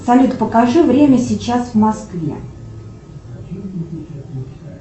салют покажи время сейчас в москве